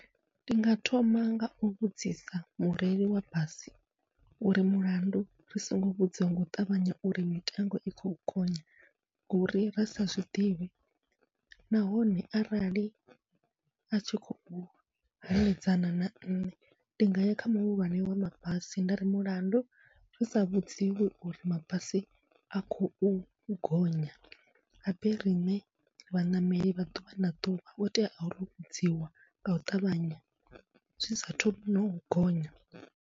Ndi nga thoma ngau vhudzisa mureili wa basi uri mulandu ri songo vhudziwa ngau ṱavhanya uri mitengo i khou gonya, ngori ra sa zwiḓivhi nahone arali atshi khou hanedzana na nṋe, ndi nga ya kha muhulwane wa mabasi ndari mulandu ri sa vhudziwi uri mabasi a khou gonya habe riṋe vhaṋameli vha ḓuvha na ḓuvha ho tea ro vhudziwa ngau ṱavhanya zwi saathu nau gonya.